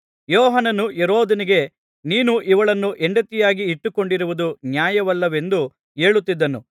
ಯೋಹಾನನು ಹೆರೋದನಿಗೆ ನೀನು ಇವಳನ್ನು ಹೆಂಡತಿಯಾಗಿ ಇಟ್ಟುಕೊಂಡಿರುವುದು ನ್ಯಾಯವಲ್ಲವೆಂದು ಹೇಳುತ್ತಿದ್ದನು